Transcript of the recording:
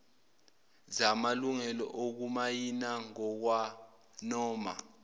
zamalungelo okumayina ngokwanoma